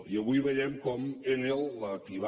i avui veiem com enel la qui va